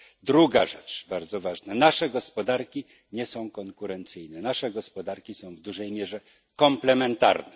Druga rzecz bardzo ważna nasze gospodarki nie są konkurencyjne, nasze gospodarki są w dużej mierze komplementarne.